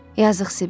Yazıq Sibil.